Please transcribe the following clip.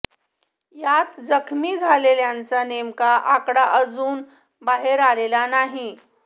यात जखमी झालेल्यांचा नेमका आकडा अजुन बाहेर आलेला नाही